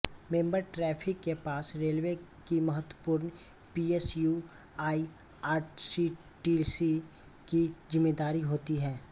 member traffic के पास railway की महत्वपूर्ण पीएसयू आईआरसीटीसी की ज़िम्मेदारी होती है